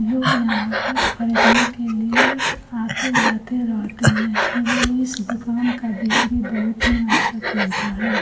लोग यहाँ पर खरीदने के लिए आते जाते रहते हैं इस दुकान का बिक्री बहुत ही अच्छा चलता है।